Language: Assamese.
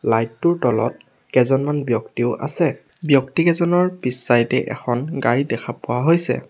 লাইট টোৰ তলত কেইজনমান ব্যক্তিও আছে ব্যক্তি কেইজনৰ পিছ চাইড এ এখন গাড়ী দেখা পোৱা হৈছে।